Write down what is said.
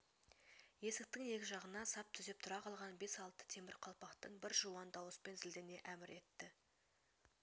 есктң ек жағына сап түзеп тұра қалған бес-алты темір қалпақтың бір жуан дауыспен зілдене әмір етті